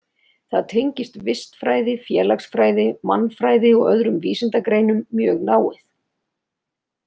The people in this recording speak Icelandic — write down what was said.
Það tengist vistfræði, félagsfræði, mannfræði og öðrum vísindagreinum mjög náið.